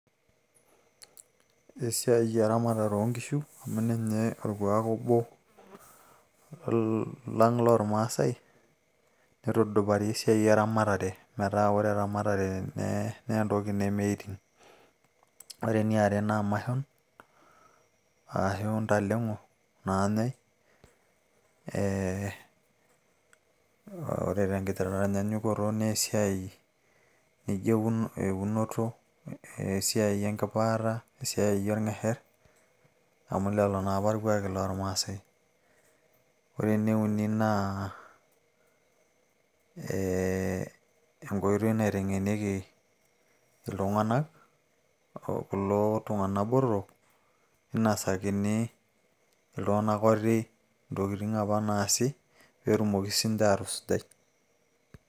Ore esiai e ramatare oo nkishu amu ninye orkuak obo lang loo ilmaasai neitudupari esiai e ramatare metaa ore eramatare naa ntoki nemeiting. Ore eeniare naa mashon aashu ntaleng`o naajai eeh ore te nkitaanyanyukoto naa esiai naijo eunoto, esiai nkipaata esiai o lng`esher amu lelo naapa ilkuaki loo ilmaasae. Ore ene uni naa eeh enkoitoi naiteng`enieki iltung`anak kulo tung`anak botorok, ninosakini iltung`anak oti ntokitin apa naasi pee etumoki sii ninche aatusujai.